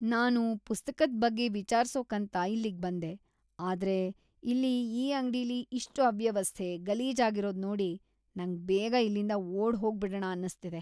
ನಾನು ಪುಸ್ತಕದ್ ಬಗ್ಗೆ ವಿಚಾರ್ಸೋಕಂತ ಇಲ್ಲಿಗ್ಬಂದೆ, ಆದ್ರೆ ಇಲ್ಲಿ ಈ ಅಂಗ್ಡಿಲಿ ಇಷ್ಟ್ ಅವ್ಯವಸ್ಥೆ, ಗಲೀಜಾಗಿರೋದ್ ನೋಡಿ‌ ನಂಗ್‌ ಬೇಗ ಇಲ್ಲಿಂದ ಓಡ್‌ ಹೋಗ್ಬಿಡಣ ಅನ್ಸ್ತಿದೆ.